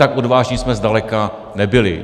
Tak odvážní jsme zdaleka nebyli.